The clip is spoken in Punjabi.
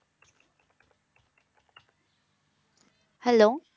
Hello